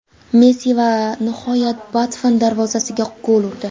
Messi va nihoyat Buffon darvozasiga gol urdi.